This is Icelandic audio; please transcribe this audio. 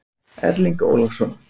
Erling Ólafsson.